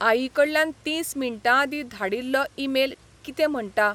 आईकडल्यान तीस मिंटांआदीं धाडील्लो ईमेल कितें म्हणटा?